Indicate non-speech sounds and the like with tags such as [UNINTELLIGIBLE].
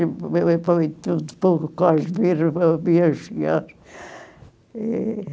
[UNINTELLIGIBLE] meu pai e tudo o povo quase viram o meu avião chegar. E...